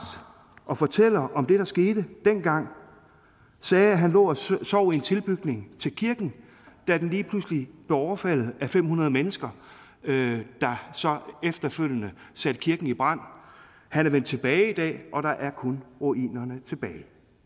og fortæller om det der skete dengang sagde at han lå og sov i en tilbygning til kirken da den lige pludselig blev overfaldet af fem hundrede mennesker der så efterfølgende satte kirken i brand han er vendt tilbage i dag og der er kun ruinerne tilbage